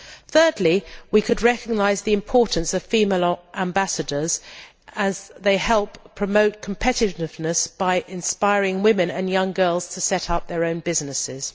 thirdly, we could recognise the importance of female ambassadors as they help promote competitiveness by inspiring women and young girls to set up their own businesses.